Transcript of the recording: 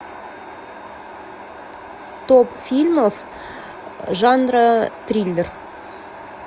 топ фильмов жанра триллер